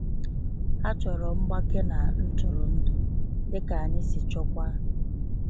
Ha chọrọ mgbake na ntụrụndụ, dịka anyị si chọọkwa.